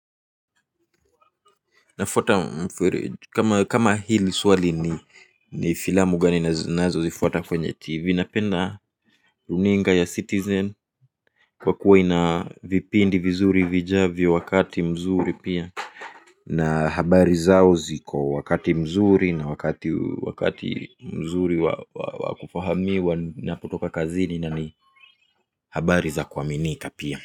Nafuata kama hili swali ni filamu gani ninazo zifuata kwenye tv napenda runinga ya citizen kwa kuwa ina vipindi vizuri vijavyo wakati mzuri pia na habari zao ziko wakati mzuri na wakati wakati mzuri wa kufahamiwa ninapotoka kazini na ni habari za kuaminika pia.